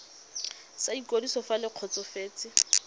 sa ikwadiso fa le kgotsofetse